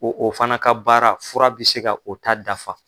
Ko o fana ka baara fura bi se ka o ta dafa.